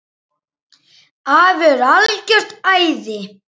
Afi er algert æði.